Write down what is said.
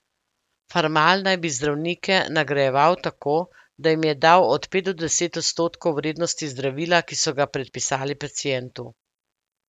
Farmal naj bi zdravnike nagrajeval tako, da jim je dal od pet do deset odstotkov vrednosti zdravila, ki so ga predpisali pacientu.